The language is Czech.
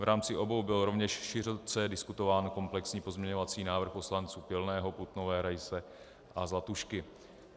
V rámci obou byl rovněž široce diskutován komplexní pozměňovací návrh poslanců Pilného, Putnové, Raise a Zlatušky.